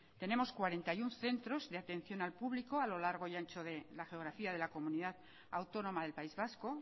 tenemos cuarenta y uno centros de atención al público a lo largo y ancho de la geografía de la comunidad autónoma del país vasco